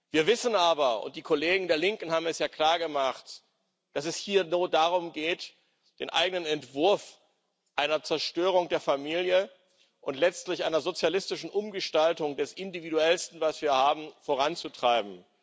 Wir wissen aber und die Kollegen der Linken haben es ja klargemacht dass es hier nur darum geht, den eigenen Entwurf einer Zerstörung der Familie und letztlich einer sozialistischen Umgestaltung des Individuellsten, was wir haben, voranzutreiben.